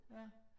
Ja